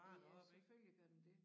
Ja selvfølgelig gør den det